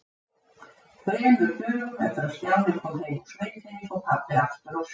Þremur dögum eftir að Stjáni kom heim úr sveitinni fór pabbi aftur á sjóinn.